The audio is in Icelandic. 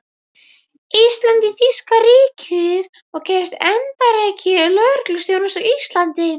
Íslands í þýska ríkið og gerðist erindreki lögreglustjórans á Íslandi.